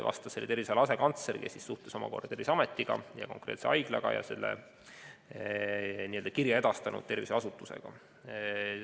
Vastas terviseala asekantsler, kes suhtes omakorda Terviseameti ja konkreetse haiglaga ning selle kirja edastanud tervishoiuasutusega.